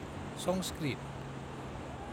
Sanskrit